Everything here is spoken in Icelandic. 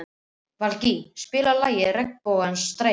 Valgý, spilaðu lagið „Regnbogans stræti“.